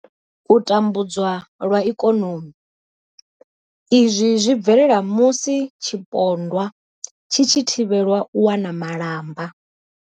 U tambudzwa lwa ikonomi. Izwi zwi bvelela musi tshipondwa tshi tshi thivhelwa u wana malamba.